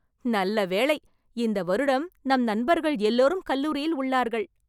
நல்ல வேளை ! இந்த வருடம் நம் நண்பர்கள் எல்லோரும் கல்லூரியில் உள்ளார்கள்.